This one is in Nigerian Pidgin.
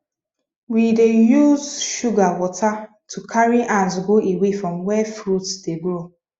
we dey use sugar water to carry ant go away from where fruit dey grow